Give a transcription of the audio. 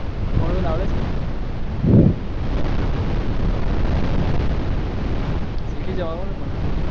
four wheel આવડે છે ને હમમ શીખી જવાનું ને પણ